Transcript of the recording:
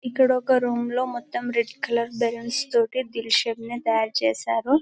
ఇక్కడ ఒక రూమ్ లో మొత్తం రెడ్ కలర్ బలూన్స్ తోటి దిల్ షేప్ ని తయారు చేశారు --